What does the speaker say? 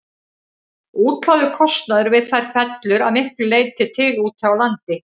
Útlagður kostnaður við þær fellur að miklu leyti til úti á landi.